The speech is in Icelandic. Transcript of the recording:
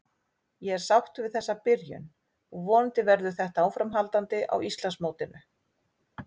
Ég er sáttur við þessa byrjun og vonandi verður þetta áframhaldandi á Íslandsmótinu.